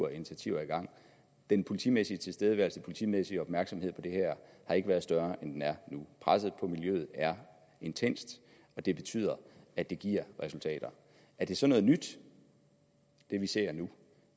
af initiativer i gang den politimæssige tilstedeværelse og politimæssige opmærksomhed på det her har ikke været større end den er nu presset på miljøet er intenst og det betyder at det giver resultater er det så noget nyt det vi ser nu